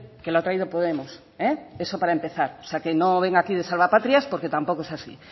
que lo ha traído podemos eso para empezar o sea que no venga aquí de salvapatrias porque tampoco es así